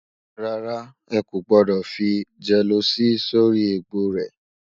rárá, ẹkọ gbódò fí jeeloci sórí ègbó rè